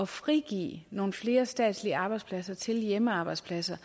frigive nogle flere statslige arbejdspladser til hjemmearbejdspladser